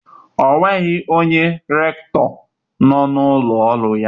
onweghi onye rekitoo no n'ulo oru ya?